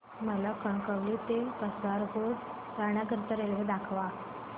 मला कणकवली ते कासारगोड जाण्या करीता रेल्वे दाखवा